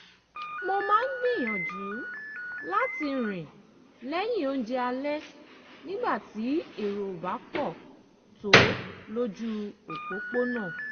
mo máa ń gbìyànjú láti rìn lẹ́yìn oúnjẹ alẹ́ nígbà tí èrò ò bá pọ̀ tó lójú òpópónà